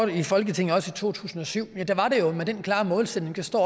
i folketinget også i to tusind og syv var det med den klare målsætning det står